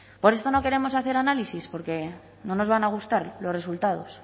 por esto no queremos hacer análisis porque no nos van a gustar los resultados